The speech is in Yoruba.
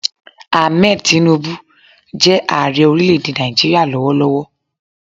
Ahmed Tinubu jẹ́ Ààrẹ orílẹ̀ èdè Nàìjíríà lọ́wọ́lọ́wọ́